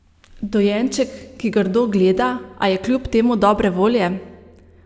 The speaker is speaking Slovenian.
Dojenček, ki grdo gleda, a je kljub temu dobre volje?